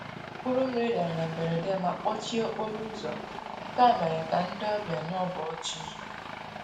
Mkpụrụ mmiri dara na mberede ma kpọchie okporo ụzọ, nke a mere ka ndị ọbịa nọbọọchi.